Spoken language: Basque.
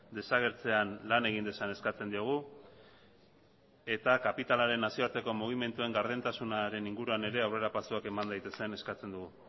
desagertzean lan egin dezan eskatzen diogu eta kapitalaren nazioarteko mugimenduen gardentasunaren inguruan ere aurrerapausuak eman daitezen eskatzen dugu